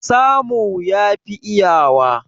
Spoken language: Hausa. Samu yafi iyawa.